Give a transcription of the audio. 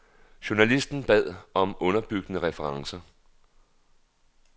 Journalisten bad om underbyggende referencer.